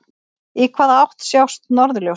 Í hvaða átt sjást norðurljósin?